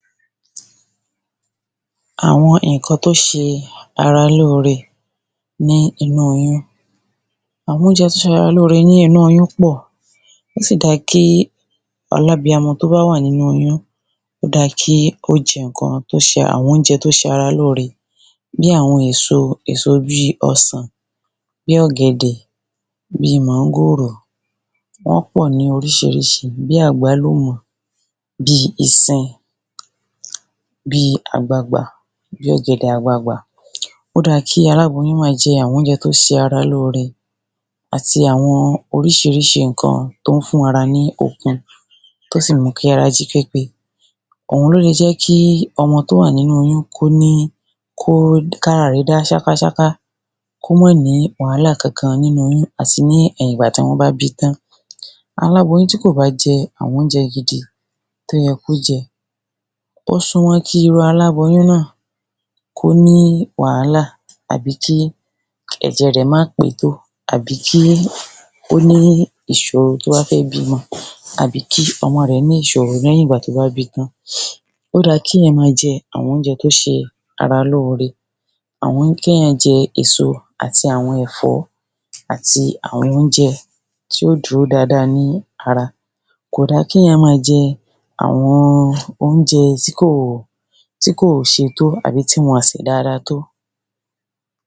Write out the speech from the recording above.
àwọn ǹkan tó ṣe ara lóore nínu oyún. àwọn óúnjẹ tí ń ṣe ara ní ore nínu oyún pọ̀, ó sì dá kí alábiyamọ tó bá wà nínu oyún, ó dá kí ó jẹ àwọn oúnjẹ tí ó ṣe ara lóore bíi àwọn èso, èso bíi ọsàn, bíi ọ̀gẹ̀dẹ̀, bíi máńgòrò, wọ́n pọ̀ ní oríṣiríṣi, bíi àgbálùmọ́ bíi ìsin, bí ọ̀gẹ̀dẹ̀ àgbagbà. Ó da kí aláboyún máa jẹ àwọn óúnjẹ tó ṣe ara lóore àti àwọn oríṣiríṣi ǹkan tó ń fún ara ní okun, tó sì ń mú kí ará jí pépé, òun ni ó le jẹ́ kí ọmọ tó wà nínu oyún kí ara rẹ̀ dá ṣákáṣáká. kò mà ní wàhálà kankan nínu oyún àti ní ẹ̀yìn ìgbà tí wọ́n bá bíi tan. aláboyún tí kò bá jẹ àwọn óúnjẹ gidi tí ó yẹ kó jẹ, ó súnmọ́ kí irú aláboyún náà kó ní wàhálà àbí kí ẹ̀jẹ rẹ̀ má pé tó àbí kí ó ní ìṣòro tó bá fẹ́ bímọ àbí kí ọmọ rẹ̀ ní ìṣòro lẹ́yìn ìgbà tó bá bíi tán. ó dá kí ènìyàn máa jẹ àwọn óúnjẹ tó bá ń ṣe ara lóore, kí ènìyàn jẹ èso àti àwọn ẹ̀fọ́ ati àwọn óúnjẹ tí yóò dúró dáadáa ní ara kò da kí ènìyàn máa jẹ àwọn óúnjẹ tí kò ṣe tó àbí tí wọn kò sè dáadáa tó.